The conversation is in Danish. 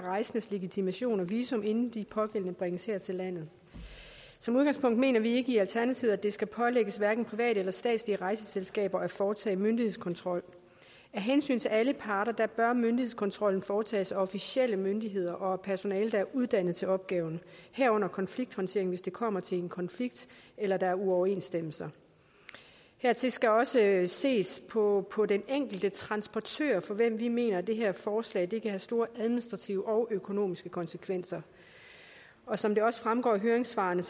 rejsendes legitimation og visum inden de pågældende bringes her til landet som udgangspunkt mener vi i alternativet ikke at det skal pålægges hverken private eller statslige rejseselskaber at foretage myndighedskontrol af hensyn til alle parter bør myndighedskontrollen foretages af officielle myndigheder og personale der er uddannet til opgaven herunder konflikthåndtering hvis det kommer til en konflikt eller der er uoverensstemmelser hertil skal også ses på på den enkelte transportør for hvem vi mener det her forslag kan have store administrative og økonomiske konsekvenser og som det også fremgår af høringssvarene